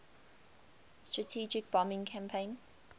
strategic bombing campaign